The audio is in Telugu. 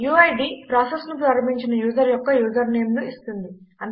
యూఐడీ ప్రాసెస్ ను ప్రారంభించిన యూజర్ యొక్క యూజర్ నేమ్ ను ఇస్తుంది